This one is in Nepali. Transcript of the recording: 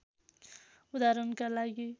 उदाहरणका लागि